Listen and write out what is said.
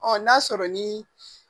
Ɔ n'a sɔrɔ ni